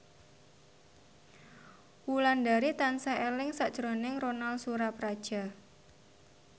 Wulandari tansah eling sakjroning Ronal Surapradja